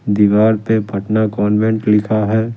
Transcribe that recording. दीवार पे पटना कॉन्वेंट लिखा है।